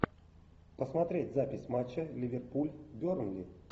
посмотреть запись матча ливерпуль бернли